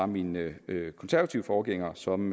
mine konservative forgængere som